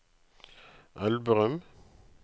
Elverum